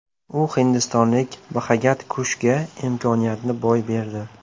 U hindistonlik Bxagat Kushga imkoniyatni boy berdi.